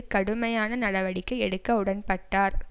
கடுமையான நடவடிக்கை எடுக்க உடன்பட்டார்